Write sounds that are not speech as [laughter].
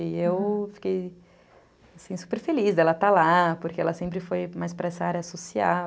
E eu [unintelligible] fiquei super feliz dela estar lá, porque ela sempre foi mais para essa área social.